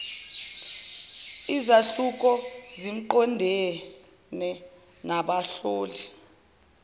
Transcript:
izahluko ziqondene nabahloli